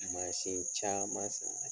Mansin caman